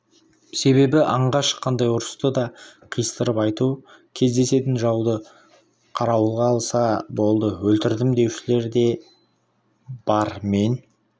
себебі аңға шыққандай ұрыста да қиыстырып айту кездесетін жауды қарауылға алса болды өлтірдім деушілер де бар мен